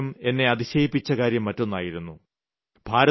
ഏറ്റവും അധികം എന്നെ അതിശയിപ്പിച്ച കാര്യം മറ്റൊന്നായിരുന്നു